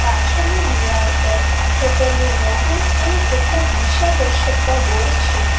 પાછળની દિવાલ પર હોટલ નું લોગો અને કેટલાક દિશાદર્શકતા બોર્ડ છે.